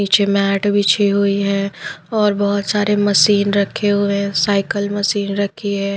नीचे मैट बिछी हुई है और बहुत सारे मशीन रखे हुए हैं साइकिल मशीन रखी है।